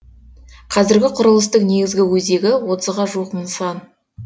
қазіргі құрылыстың негізгі өзегі отызға жуық нысан